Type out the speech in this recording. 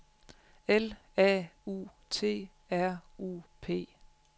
L A U T R U P